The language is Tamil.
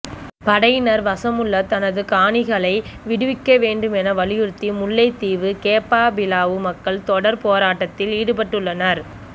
படையினர் வசமுள்ள தமது காணிகளை விடுவிக்க வேண்டும் என வலியுறுத்தி முல்லைத்தீவு கேப்பாபிலவு மக்கள் தொடர் போராட்டத்தில் ஈடுபட்டுள்ளனர்